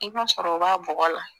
I b'a sɔrɔ o b'a bɔgɔ la